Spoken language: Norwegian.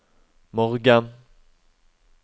morgen